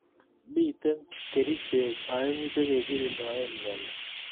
Mitei kerchek aengu che kekirindoe myoni